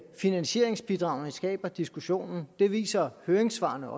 finansieringsbidragene skaber diskussionen det viser høringssvarene